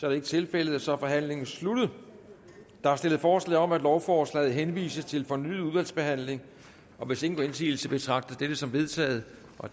er ikke tilfældet og så er forhandlingen sluttet der er stillet forslag om at lovforslaget henvises til fornyet udvalgsbehandling hvis ingen gør indsigelse betragter jeg dette som vedtaget